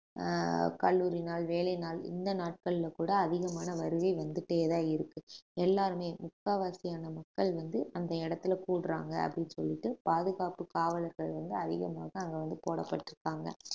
ஆஹ் கல்லூரி நாள் வேலை நாள் இந்த நாட்கள்ல கூட அதிகமான வருகை வந்துட்டேதான் இருக்கு எல்லாருமே முக்காவாசியான மக்கள் வந்து அந்த இடத்துல கூடுறாங்க அப்படின்னு சொல்லிட்டு பாதுகாப்பு காவலர்கள் வந்து அதிகமாக அங்க வந்து போடப்பட்டிருக்காங்க